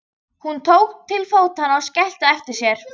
Hún tók til fótanna og skellti á eftir sér.